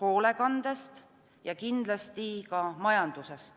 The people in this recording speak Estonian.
hoolekandest ja kindlasti ka majandusest.